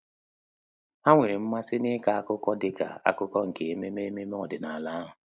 Há nwéré mmasị n’ị́kọ́ ákụ́kọ́ dịka ákụ́kụ́ nke ememe ememe ọ́dị́nála ahụ.